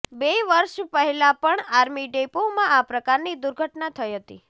બે વર્ષ પહેલા પણ આર્મી ડેપોમાં આ પ્રકારની દુર્ઘટના થઇ હતી